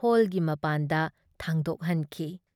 ꯍꯣꯜꯒꯤ ꯃꯄꯥꯟꯗ ꯊꯥꯡꯗꯣꯛꯍꯟꯈꯤ ꯫